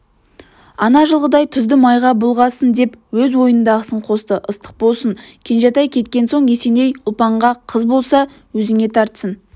ана жылғыдай тұзды майға бұлғасын деп өз ойындағысын қосты ыстық болсын кенжетай кеткен соң есеней ұлпанғақыз болса өзіңе тартсын